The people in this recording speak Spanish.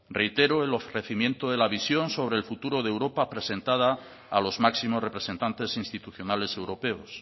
reitero el ofrecimiento de la visión sobre el futuro de europa presentada a los máximos representantes institucionales europeos